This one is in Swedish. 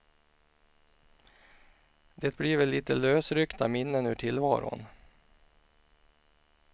Det blir väl lite lösryckta minnen ur tillvaron.